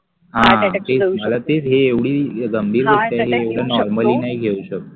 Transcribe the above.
हा मला तेच आता हि एव्हडी गंभीर गोष्ट आहे एव्हडं normally नाही घेऊ शकत